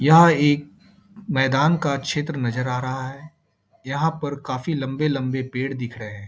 यह एक मैदान का क्षेत्र नजर आ रहा है यहाँ पर काफी लंबे-लंबे पेड़ दिख रहें हैं।